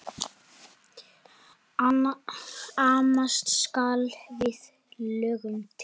Amast skal við lögnum lítt.